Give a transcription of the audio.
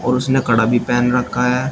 और उसने कड़ा भी पहन रखा है।